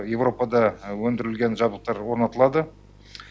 еуропада өндірілген жабдықтар орнатылады